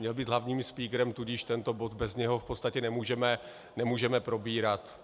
Měl být hlavním spíkrem, tudíž tento bod bez něho v podstatě nemůžeme probírat.